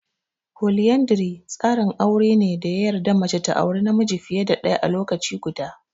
Foliyandri tsarin aure ne da ya yarda mace ta aure namiji fiye da ɗaya a lokaci guda.